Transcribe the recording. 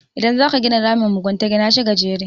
idan za ka gina ramin mugunta Gina shi gajere